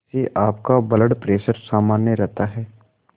इससे आपका blood pressure सामान्य रहता है